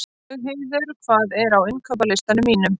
Laugheiður, hvað er á innkaupalistanum mínum?